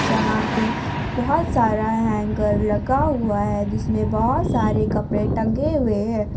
जहां पे बहुत सारा हैंगर लगा हुआ है जिसमें बहुत सारे कपड़े टंगे हुए हैं।